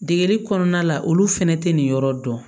Degeli kɔnɔna la olu fɛnɛ tɛ nin yɔrɔ dɔn